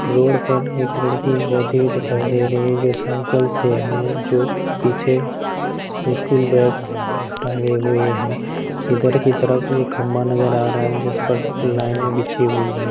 Road पर एक लड़की जाती हुई दिखाई दे रही है जो साइकिल से है जो पीछे स्कूल बैग टांगे हुए है इधर की तरफ एक खंबा नजर आ रहा है जिस पर लाइनें बिछी हुई हैं।